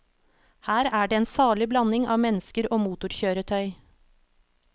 Her er det en salig blanding av mennesker og motorkjøretøy.